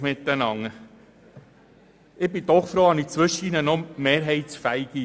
Ich bin froh, habe ich zwischendurch auch noch mehrheitsfähige Ideen.